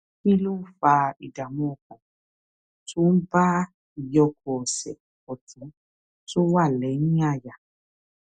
kí ló ń fa ìdààmú ọkàn tó ń bá ìyókù ọsè òtún tó wà léyìn àyà